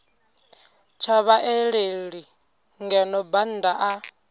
tsha vhaaleli ngeno bannda a